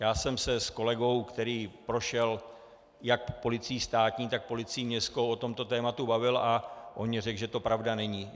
Já jsem se s kolegou, který prošel jak policií státní, tak policií městskou, o tomto tématu bavil a on mně řekl, že to pravda není.